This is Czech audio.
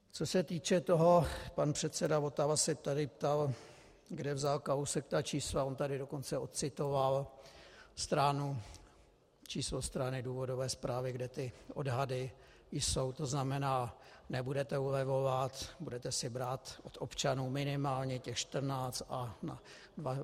Co se týče toho, pan předseda Votava se tady ptal, kde vzal Kalousek ta čísla, on tady dokonce ocitoval číslo strany důvodové zprávy, kde ty odhady jsou, to znamená: Nebudete ulevovat, budete si brát od občanů minimálně těch 14 a v roce 2016 16 miliard navíc.